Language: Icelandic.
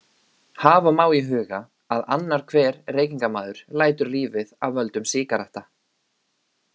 Hafa má í huga að annar hver reykingamaður lætur lífið af völdum sígaretta.